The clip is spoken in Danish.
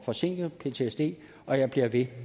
forsinket ptsd og jeg bliver ved